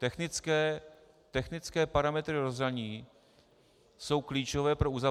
Technické parametry rozhraní jsou klíčové pro uzavření -